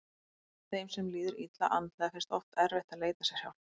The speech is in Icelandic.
Þeim sem líður illa andlega finnst oft erfitt að leita sér hjálpar.